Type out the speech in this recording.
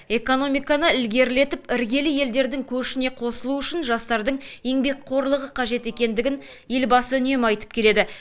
экономиканы ілгерілетіп іргелі елдердің көшіне қосылу үшін жастардың еңбекқорлығы қажет екендігін елбасы үнемі айтып келеді